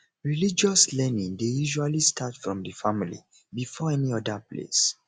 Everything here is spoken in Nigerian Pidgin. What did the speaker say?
religious learning dey usually start from di family before any oda place